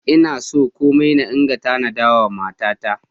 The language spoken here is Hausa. Ina so kuma ina tanada wa matata.